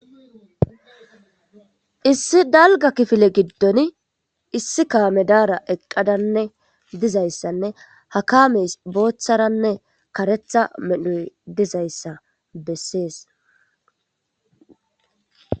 issi dalga kifile giddon issi kaame daara eqqadanne dizayssanne hakameys booththaranne karetha medhoy dizayssa bessees